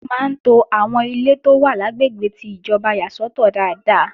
Wọ́n máa ń to àwọn ilé tó wà lágbègbè ti ìjọba yà sọ́tọ̀ dáadáa.